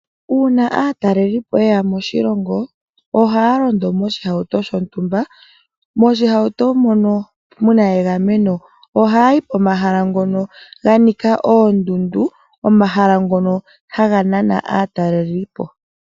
Uuna aatalelipo ye ya moshilongo, ohaa londo moshihauto shontumba , moshihauto mono mu na egameno. Ohaa yi pomahala ngono ga nika oondundu, omahala ngono haga nana aatalelipo.